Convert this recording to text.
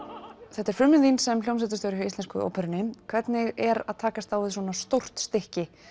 þetta er frumraun þín sem hljómsveitarstjóri hjá Íslensku óperunni hvernig er að takast á við svona stórt stykki